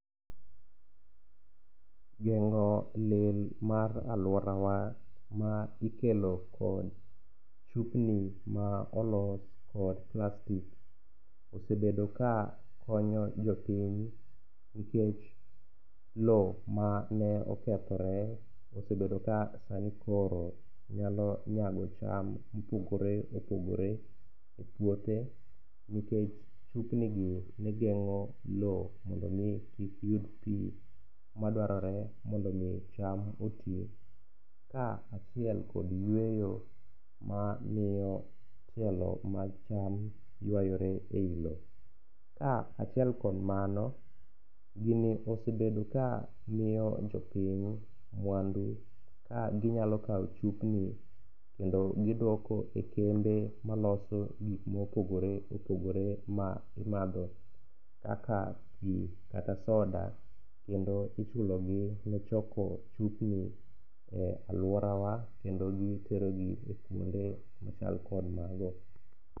Geng'o lil mar alworawa ma ikelo kod chupni ma olos kod plastik osebedo ka konyo jopiny nikech lowo mane okethre osebedo ka sani koro nyalo nyago cham mopogore opogore e puothe nikech chupnigi ne geng'o lowo mondo omi kik yud pi madwarore mondo omi cham oti ka achiel kod yweyo mamiyo tielo mag cham ywayore ei lowo. Ka achiel kod mano, gini osebedo ka miyo jopiny mwandu ka ginyalo kawo chupni kendo gidwoko e kembe maloso gik mopogore opogore ma imadho kaka pi kata soda, kendo ichulogi ne choko chupni e alworawa kendo giterogi e kwonde machal kod mago.